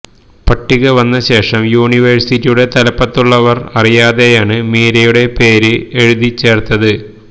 പട്ടിക വന്നശേഷം യൂണിവേഴ്സിറ്റിയുടെ തലപ്പത്തുള്ളവർ അറിയാതെയാണ് മീരയുടെ പേര് എഴുതി ചേർത്തത്